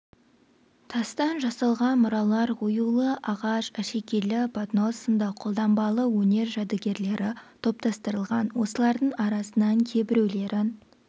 тастан жасалған мұралар оюлы ағаш әшекейлі поднос сынды қолданбалы өнер жәдігерлері топтастырылған осылардың арасынан кейбіреулерін